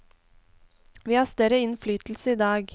Vi har større innflytelse i dag.